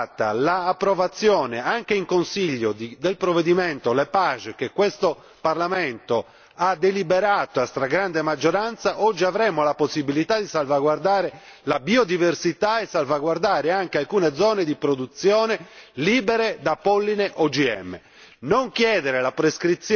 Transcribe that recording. Se, viceversa, ci fosse stata l'approvazione, anche in Consiglio, del provvedimento Lepage che questo Parlamento ha deliberato a stragrande maggioranza, oggi avremo la possibilità di salvaguardare la biodiversità e salvaguardare anche alcune zone di produzione libere da polline OGM.